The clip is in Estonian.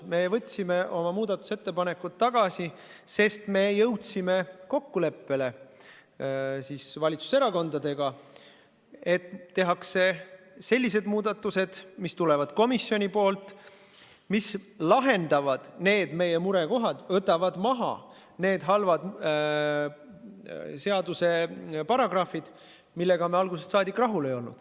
Me võtsime oma muudatusettepanekud tagasi, sest me jõudsime valitsuserakondadega kokkuleppele, et tehakse sellised muudatused, mis tulevad komisjonilt ja lahendavad meie murekohad, võtavad maha halvad paragrahvid, millega me algusest saadik rahul ei olnud.